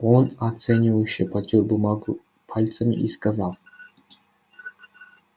он оценивающе потёр бумагу пальцами и сказал